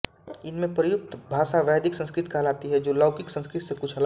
इनमे प्रयुक्त भाषा वैदिक संस्कृत कहलाती है जो लौकिक संस्कृत से कुछ अलग है